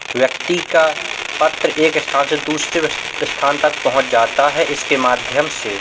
व्यक्ति का पत्र एक स्थान से दूसरे अस स्थान तक पहुँच जाता है इसके माध्यम से।